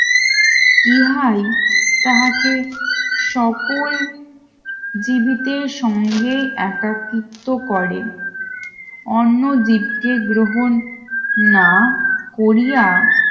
ইহাই তাহাকে সকল জিবিতের সঙ্গে একাকিত্ব করেন অন্নদ্বীপকে গ্রহণ না করিয়া